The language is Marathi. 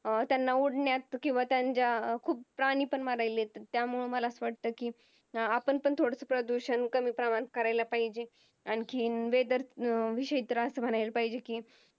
अं त्यांना उडण्यात किव्हा त्यांच्या खूप प्राणी पण मरालेत त्यामुळं मला अस वाटतं कि अं आपण पण थोडस प्रदूषण कमीप्रमाणात कराल पाहिजेत आणखीन Weather विषयी आस म्हणाला पाहिजेत कि